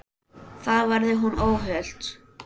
Þar verði hún óhult.